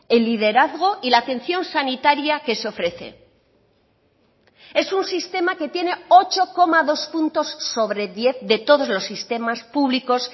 el liderazgo y la atención sanitaria que se ofrece es un sistema que tiene ocho coma dos puntos sobre diez de todos los sistemas públicos